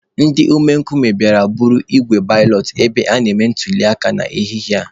Ndị omekome bịara buru igbe balọt ebe a na-eme ntuliaka n'ehihie a.